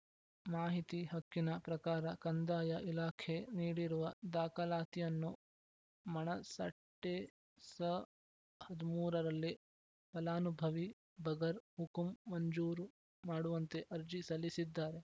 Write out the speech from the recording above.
ಮಾಹಿತಿ ಹಕ್ಕಿನ ಪ್ರಕಾರ ಕಂದಾಯ ಇಲಾಖೆ ನೀಡಿರುವ ದಾಖಲಾತಿಯಲನ್ನು ಮಣಸಟ್ಟೆಸ ಹದಿಮೂರು ರಲ್ಲಿ ಫಲಾನುಭವಿ ಬಗರ್‌ ಹುಕುಂ ಮಂಜೂರು ಮಾಡುವಂತೆ ಅರ್ಜಿ ಸಲ್ಲಿಸಿದ್ದಾರೆ